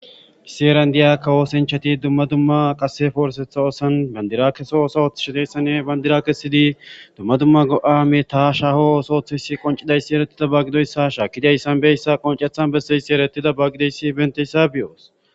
issi eran diya kawoosinchati dumma dumma qase foorsetha osan bandira keso osohoth shideyssane bandira kesidi dumma dumma go7a metaa shaho osooththesi qoncidayssi erettida baggidoyssa ha shaa kidays sanbeyssa qoncethan besseyssi erettida baggidoyssi benteyssa bioos